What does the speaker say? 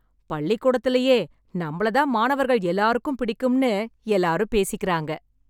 பள்ளிகூடத்திலேயே நம்மள தான் மாணவர்கள் எல்லாருக்கும் பிடிக்கும்னு எல்லாரும் பேசிக்குறாங்க.